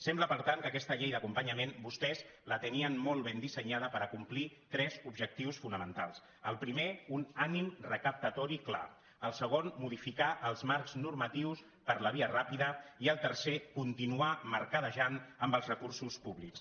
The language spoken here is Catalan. sembla per tant que aquesta llei d’acompanyament vostès la tenien molt ben dissenyada per acomplir tres objectius fonamentals el primer un ànim recaptatori clar el segon modificar els marcs normatius per la via ràpida i el tercer continuar mercadejant amb els recursos públics